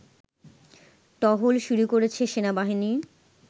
টহল শুরু করেছে সেনাবাহিনী